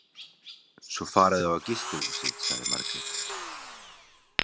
Svo fara þau á gistihúsið, sagði Margrét.